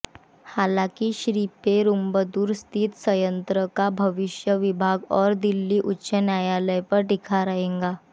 हालांकि श्रीपेरुंबदूर स्थित संयंत्र का भविष्य विभाग और दिल्ली उच्च न्यायालय पर टिका रहेगा